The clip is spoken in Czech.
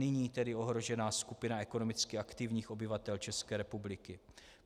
Nyní tedy ohrožená skupina ekonomicky aktivních obyvatel České republiky.